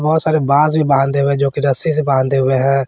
बहुत सारे बांस भी बांधे हुए हैं जोकि रस्सी से बांधे हुए हैं।